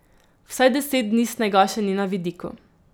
Vsaj deset dni snega še ni na vidiku.